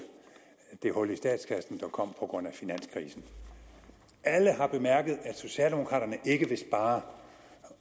det hul i statskassen der kom på grund af finanskrisen alle har bemærket at socialdemokraterne ikke vil spare